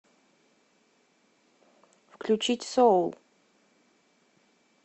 включить соул